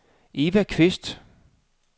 Eva Kvist